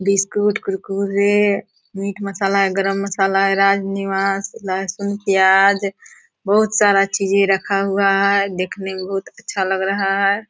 Biscuit Kurkure meat masala garam masala राजनिवास लहसुन प्याज बहोत सारा चीजे रखा हुआ है देखने में बहोत अच्छा लग रहा है।